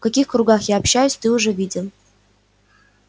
в каких кругах я общаюсь ты уже видел